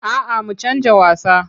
A'a mu canja wasa.